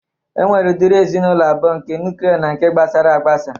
E nwere ụdịrị ezinaụlọ abụo: nke nuklia na nke gbasaragbasa